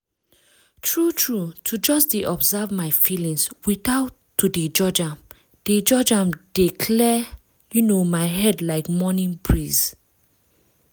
true true to just dey observe my feelings without to dey judge am dey judge am dey clear um my head like morning breeze.